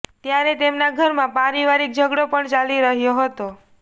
ત્યારે તેમના ઘરમાં પારિવારિક ઝઘડો પણ ચાલી રહ્યો હતો